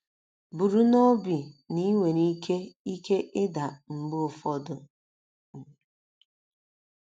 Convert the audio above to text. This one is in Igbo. Buru n’obi na i nwere ike ike ịda mgbe ụfọdụ. um